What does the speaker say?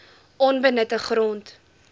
onbenutte grond